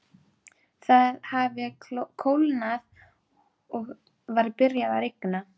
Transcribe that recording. Það hafði kólnað og var byrjað að rigna.